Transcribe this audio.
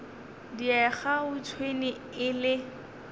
diega ga tšhwene e le